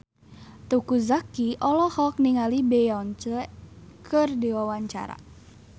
Teuku Zacky olohok ningali Beyonce keur diwawancara